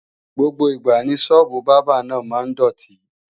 Gbogbo ìgbà ni Sọ́ọ́bù Bábà náà máa ń dòtí